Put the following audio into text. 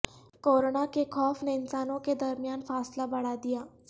corona کے خوف نے انسانوں کے درمیان فاصلہ بڑھادیا